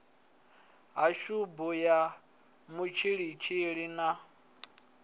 ha tshubu ya mutshilitshili na